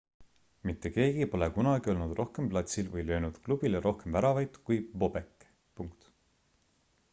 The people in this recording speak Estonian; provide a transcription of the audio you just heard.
mitte keegi pole kunagi olnud rohkem platsil või löönud klubile rohkem väravaid kui bobek